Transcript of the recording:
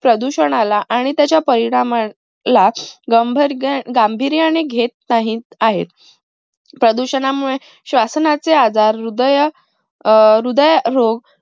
प्रदूषणाला आणि त्याच्या परिणाम ला गंभार्ग गांभीर्याने घेत नाहीत आहेत. प्रदूषणामुळे श्वसनाचे आजार, हृदय अं हृदय रोग